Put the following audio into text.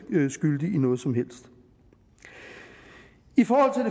skyldig i noget som helst i forhold